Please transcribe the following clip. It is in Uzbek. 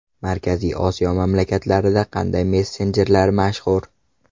Markaziy Osiyo mamlakatlarida qanday messenjerlar mashhur?